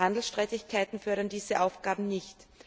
Handelsstreitigkeiten fördern diese Aufgaben nicht.